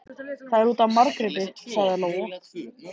Það er út af Margréti, sagði Lóa.